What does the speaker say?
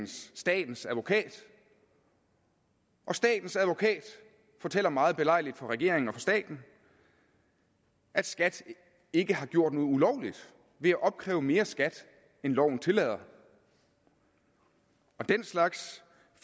statens advokat og statens advokat fortæller meget belejligt for regeringen og for staten at skat ikke har gjort noget ulovligt ved at opkræve mere skat end loven tillader og den slags